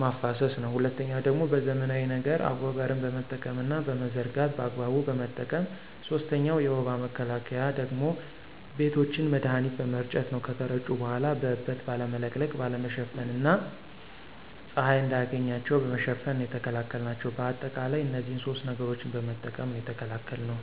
ማፋሰስ ነው። ሁለተኛው ደግሞ በዘመናዊ ነገር አጎበርን በመጠቀምና በመዘርጋት በአግባቡ በመጠቀም። ሶስተኛው የወባ መከላከያ ደግሞ ቤቶችን መድሀኒት በመርጨት ነው ከተረጩ በኋላ በእበት ባለመለቅለቅ፣ ባለመሸፈን እና ፀሀይ እንዳያገኛቸው በመሸፈን ነው የተከላከልናቸው። በአጠቃላይ እነዚህን ሶስት ነገሮችን በመጠቀም ነው የተከላከልነው።